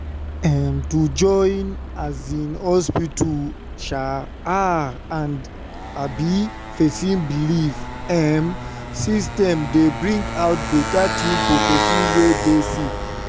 em- to join um hospita um ah and um pesin belief emmm system dey bring out beta tin for pesin wey dey sick